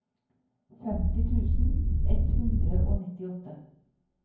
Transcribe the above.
femti tusen ett hundre og nittiåtte